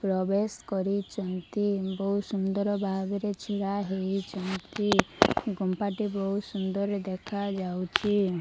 ପ୍ରବେଶ କରିଛନ୍ତି ବହୁତ ସୁନ୍ଦର ଭାବରେ ଛିଡା ହୋଇଛନ୍ତି କମ୍ପାଟି ବହୁତ ସୁନ୍ଦର ଦେଖାଯାଉଛି।